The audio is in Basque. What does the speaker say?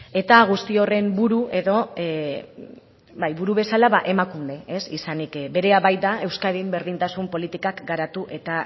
eta guzti horren buru bezala emakunde izanik berea baita euskadin berdintasun politikak garatu eta